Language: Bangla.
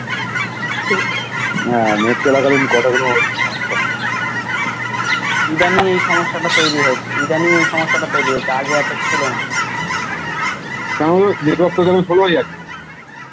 হা Net চলাকালীন কথা গুলো একটু সমস্যা হয় কারণ Network টা যখন সরে যায়